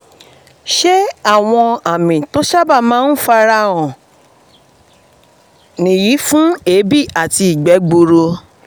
ṣé àwọn àmì tó sábà máa sábà máa ń fara hàn nìyí fún èébì àti ìgbẹ́ gbuuru?